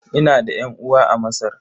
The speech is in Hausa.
Ina da ƴan'uwa a Masar.